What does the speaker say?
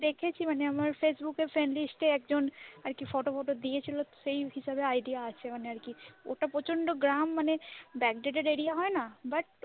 দেখেছি মানে আমার ফেসবুক friendlist একজন ফটো টটো দিয়েছিল কিছুটা মানে idea আছে আরকি, ওটা প্রচন্ড গ্রাম backdated area হয় না। but,